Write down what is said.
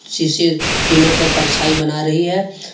शीशे तीनों का परछाई बना रही है।